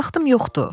Vaxtım yoxdur!